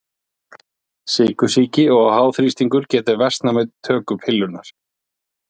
Sykursýki og háþrýstingur geta versnað við töku pillunnar.